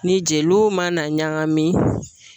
Ni jeliw mana ɲagami